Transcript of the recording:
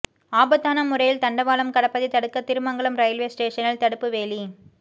ஆபத்தான முறையில் தண்டவாளம் கடப்பதை தடுக்க திருமங்கலம் ரயில்வே ஸ்டேஷனில் தடுப்பு வேலி